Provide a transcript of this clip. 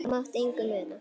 Það mátti engu muna.